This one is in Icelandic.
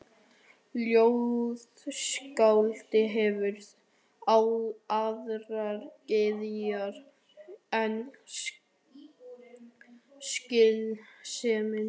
Ljóðskáldið hefur aðrar gyðjur en skynsemina.